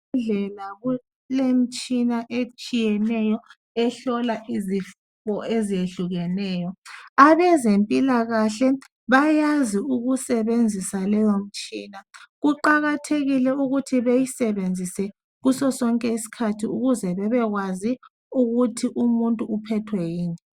Ezibhedlela kulemitshina eyehlukeneyo ehlola izifo ezehlukeneyo abezempilakahle bayakwazi ukusebenzisa leyo mtshina kuqakathekile ukuthi bayisebenzise kuso sobke iskhathi ukuze bebekwazi umuntu uphethwe yini